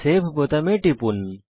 save বোতামে টিপুন